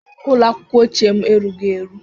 Ụlọ akwụkwọ ochie m erughị eru